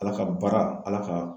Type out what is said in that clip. ALA ka baara ALA ka.